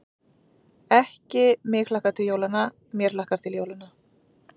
Ekki: mig hlakkar til jólanna, mér hlakkar til jólanna.